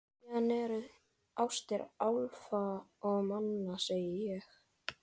Síðan eru það ástir álfa og manna, segi ég.